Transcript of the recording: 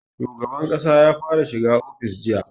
Shugaban ƙasa ya fara shiga ofis a jiya